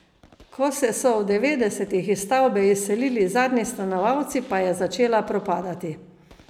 Ko se so v devetdesetih iz stavbe izselili zadnji stanovalci, pa je začela propadati.